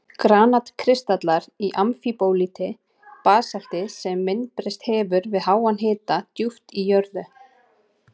Granat-kristallar í amfíbólíti, basalti sem myndbreyst hefur við háan hita djúpt í jörðu.